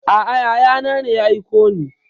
A'a yaya na ne ya aiko ni.